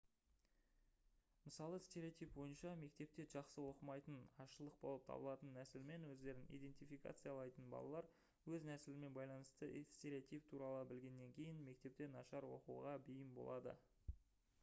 мысалы стереотип бойынша мектепте жақсы оқымайтын азшылық болып табылатын нәсілмен өздерін идентификациялайтын балалар өз нәсілімен байланысты стереотип туралы білгеннен кейін мектепте нашар оқуға бейім болады